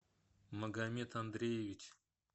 магомед андреевич